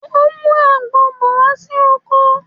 Mo ń mú àgbon bọ̀ wá sí oko